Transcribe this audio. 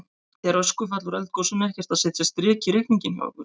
Er öskufall úr eldgosinu ekkert að setja strik í reikninginn hjá ykkur?